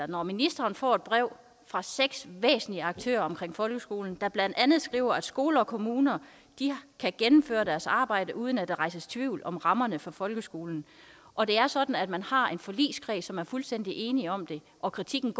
når ministeren får et brev fra seks væsentlige aktører i folkeskolen der blandt andet skriver at skoler og kommuner kan gennemføre deres arbejde uden at der rejses tvivl om rammerne for folkeskolen og det er sådan at man har en forligskreds som er fuldstændig enige om det og kritikken